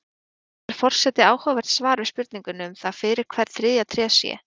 Hér fær forseti áhugavert svar við spurningunni um það fyrir hvern þriðja tréð sé.